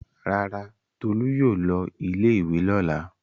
Rárá, Tolú yóò lọ ilé-ìwé lọ́la.